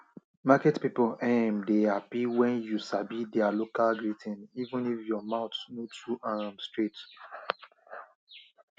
market people um dey happy when you sabi their local greeting even if your mouth no too um straight